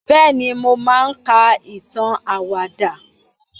bẹẹni, mo maa n ka itan awada.